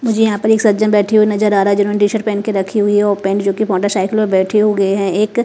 मुझे यहां पर एक सज्जन बैठे हुए नजर आ रहा है जिन्होंने टी शर्ट पहन के रखी हुई है और पैंट जो की मोटरसाइकिल पे बैठी हुए हैं एक--